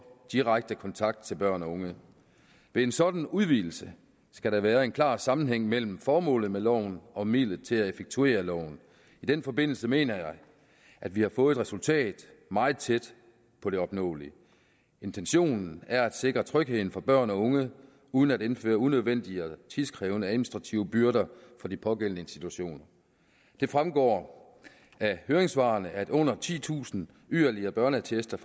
direkte kontakt til børn og unge ved en sådan udvidelse skal der være en klar sammenhæng mellem formålet med loven og midlet til at effektuere loven i den forbindelse mener jeg at vi har fået et resultat meget tæt på det opnåelige intentionen er at sikre trygheden for børn og unge uden at indføre unødvendige og tidkrævende administrative byrder for de pågældende institutioner det fremgår af høringssvarene at under titusind yderligere børneattester